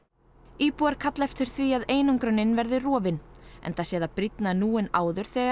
íbúar kalla eftir því að einangrunin verði rofin enda sé það brýnna nú en áður þegar